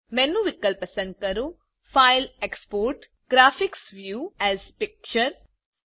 menu વિકલ્પ પસંદ કરો file gtexport GT graphics view as picture